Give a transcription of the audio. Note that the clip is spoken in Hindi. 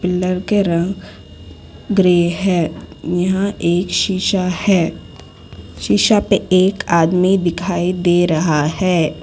पिलर के रंग ग्रे है यहां एक शिशा है शिशा पे एक आदमी दिखाई दे रहा है।